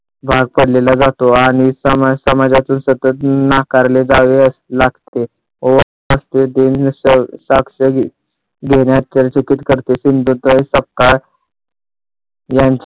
भाग पडलेला जातो आणि समाजातील सतत नाकारले जावे लागते करते सिंधुताई सपकाळ यांची